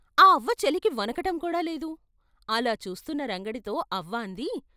ఆ అవ్వ చలికి వణకటం కూడా లేదు అలా చూస్తున్న రంగడితో అవ్వ అంది.